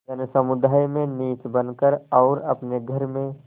जनसमुदाय में नीच बन कर और अपने घर में